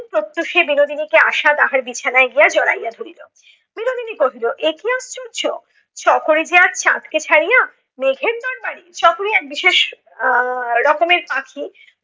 প্রত্যুষে বিনোদিনীকে আশা তাহার বিছানায় গিয়া জড়াইয়া ধরিল। বিনোদিনী কহিল এ কি আশ্চর্য! চকরি যে আজ চাঁদ কে ছাড়িয়া মেঘের দরবারে! চকরি এক বিশেষ আহ রকমের পাখি